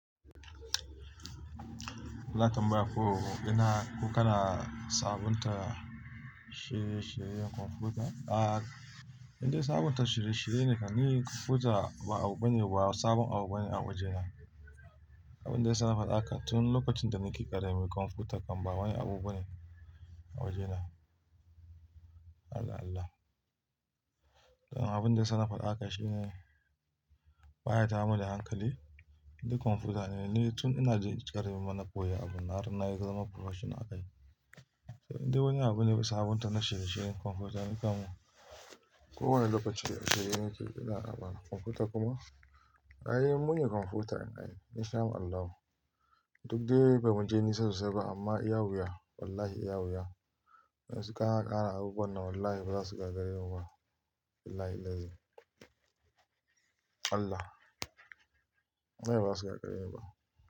Za'a tambaya ko ina, ko kana sabunta shirye-shiryen kwamfuta? A, indai sabunta shirye-shirye ne kan ni koja ba abu bane, ba sabon abu bane a waje na. Abun da ya sa nafaɗa haka tun lokacin da nake ƙarami kwamfuta kam ba wani abu bane a waje na. Allah Allah. Don abun da ya sa nafaɗa haka shine, baya tayar mun da hankali. Indai kwamfuta ne, ni tun ina jin--ƙarami ma na koya abun nan, har na zama professional a kai. Indai wani abu ne ba sabunta na shirye-shiryen kwamfuta in kamun. Ko wane lokaci da kaga nake ina amfana, kwamfuta kuma ai mune kwamfutan ai, in shama Allahu. Duk dai ba mu je nisa sosai ba amma iya wuya, wallahi iya wuya. Yanzu kana ƙara abubuwan nan wallahi ba za su gagaremu ba. Billahillazi Allah. Wallahi ba za su gagare ni ba.